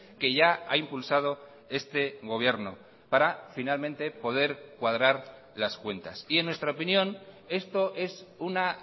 que ya ha impulsado este gobierno para finalmente poder cuadrar las cuentas y en nuestra opinión esto es una